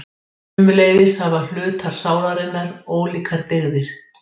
Sömuleiðis hafa hlutar sálarinnar ólíkar dygðir.